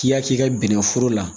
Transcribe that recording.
K'i y'a k'i ka bɛnnɛforo la